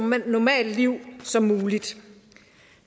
normalt liv som muligt